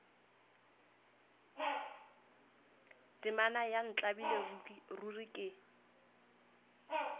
temana ya ntlabile ruri ke